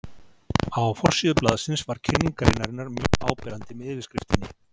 Á forsíðu blaðsins var kynning greinarinnar mjög áberandi með yfirskriftinni.